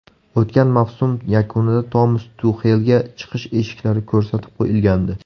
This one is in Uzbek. O‘tgan mavsum yakunida Tomas Tuxelga chiqish eshiklari ko‘rsatib qo‘yilgandi.